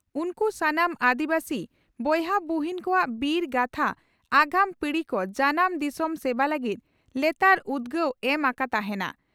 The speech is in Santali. ᱩᱱᱠᱩ ᱥᱟᱱᱟᱢ ᱟᱹᱫᱤᱵᱟᱹᱥᱤ ᱵᱚᱭᱦᱟᱼᱵᱩᱦᱤᱱ ᱠᱚᱣᱟᱜ ᱵᱤᱨ ᱜᱟᱛᱷᱟ ᱟᱜᱟᱢ ᱯᱤᱲᱦᱤ ᱠᱚ ᱡᱟᱱᱟᱢ ᱫᱤᱥᱚᱢ ᱥᱮᱵᱟ ᱞᱟᱹᱜᱤᱫ ᱞᱮᱛᱟᱲ ᱩᱫᱽᱜᱟᱹᱣ ᱮᱢ ᱟᱠᱟ ᱛᱟᱦᱮᱸᱱᱟ ᱾